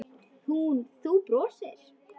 Þú brosir.